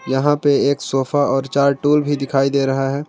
यहां पे एक सोफा और चार टूल भी दिखाई दे रहा है।